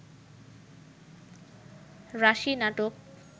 রাশি নাটক